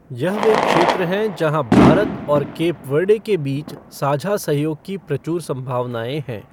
यह वे क्षेत्र हैं जहां भारत और केप वर्डे के बीच साझा सहयोग की प्रचुर संभावनाएं हैं।